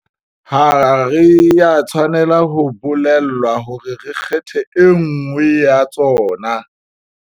Ha re a tshwanela ho bolellwa hore re kgethe e nngwe ya tsona.